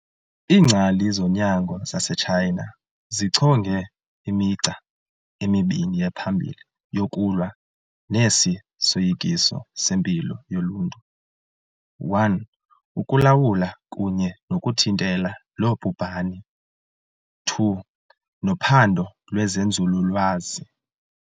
Iingcali zonyango zase-Tshayina zichonge "imigca emibini ephambili yokulwa nesi soyikiso sempilo yoluntu - 1. ukulawula kunye nokuthintela lo bhubhane 2. nophando lwezenzululwazi.